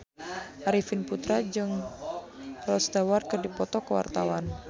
Arifin Putra jeung Rod Stewart keur dipoto ku wartawan